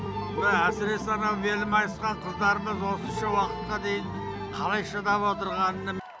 мына әсіресе анау белі майысқан қыздарымыз осынша уақытқа дейін қалай шыдап отырғанына